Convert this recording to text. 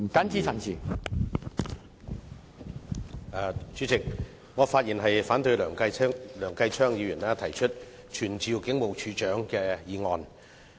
主席，我發言反對梁繼昌議員動議傳召警務處處長的議案。